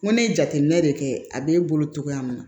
N ko ne ye jateminɛ de kɛ a be bolo cogoya min na